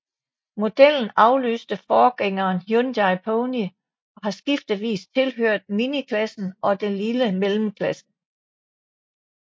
Modellen afløste forgængeren Hyundai Pony og har skiftevis tilhørt miniklassen og den lille mellemklasse